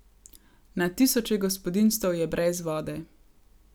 Na tisoče gospodinjstev je brez vode.